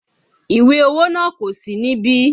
Ìwé owó náà kò sí níbí